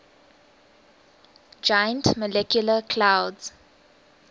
giant molecular clouds